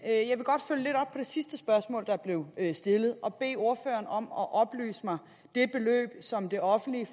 jeg sidste spørgsmål der blev stillet og bede ordføreren om at oplyse mig det beløb som det offentlige